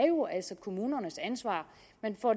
kommunernes ansvar